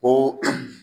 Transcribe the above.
Ko